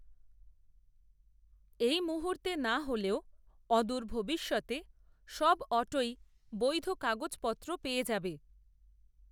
এই মুহুর্তে না হলেও, অদূর ভবিষ্যতে, সব অটোই, বৈধ কাগজপত্র, পেয়ে যাবে